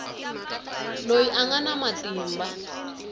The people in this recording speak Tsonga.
loyi a nga na matimba